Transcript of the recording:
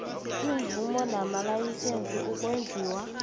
iimvumo namalayisense ukwenziwa